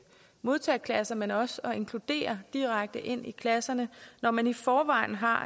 modtageklasser men også at inkludere direkte ind i klasserne når man i forvejen har